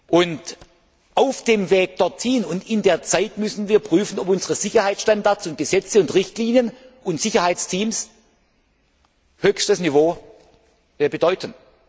gehen. Und auf dem Weg dorthin und in der Zwischenzeit müssen wir prüfen, ob unsere Sicherheitsstandards und Gesetze und Richtlinien und Sicherheitsteams höchstes Niveau bedeuten.